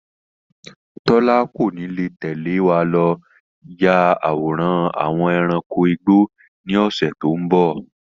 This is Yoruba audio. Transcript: Tọ́lá kò ní lè tẹ̀lé wá lọ yà àwòrán àwọn ẹranko igbó ni ọ̀sẹ̀ tòun bọ̀